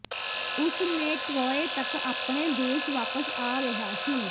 ਉਸ ਨੇ ਟਰੌਏ ਤੱਕ ਆਪਣੇ ਦੇਸ਼ ਵਾਪਸ ਆ ਰਿਹਾ ਸੀ